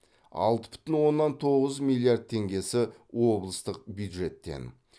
алты бүтін оннан тоғыз миллиард теңгесі облыстық бюджеттен